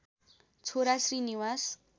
छोरा श्री निवास